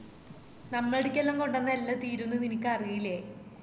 നമ്മൾഡ്‌ക്കെല്ലാം കൊണ്ടോന്നാ എല്ലാം തീര്ന്ന് നിനക്കറിയില്ലേ